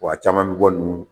Wa a caman bɛ bɔ ninnu kun